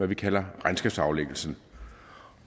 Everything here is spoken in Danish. vi kalder regnskabsaflæggelsen